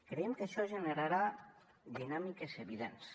creiem que això generarà dinàmiques evidents